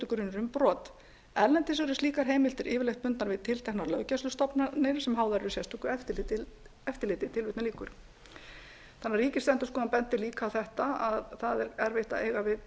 grunur um brot erlendis eru slíkar heimildir yfirleitt bundnar við tilteknar löggæslustofnanir sem háðar eru sérstöku eftirliti ríkisendurskoðun bendir líka á þetta að það væri auðveldara að eiga við